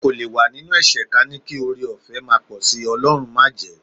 A kò lè wà nínú ẹ̀ṣẹ̀ ka ní kí ọrẹọ̀fẹ́ máa pọ̀ sí, Ọlọ́run májẹ̀ẹ́.